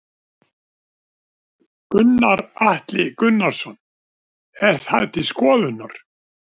Gunnar Atli Gunnarsson: Er það til skoðunar?